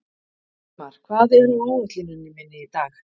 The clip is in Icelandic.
Hildimar, hvað er á áætluninni minni í dag?